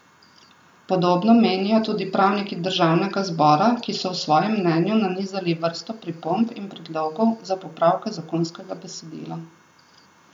Podobno menijo tudi pravniki državnega zbora, ki so v svojem mnenju nanizali vrsto pripomb in predlogov za popravke zakonskega besedila.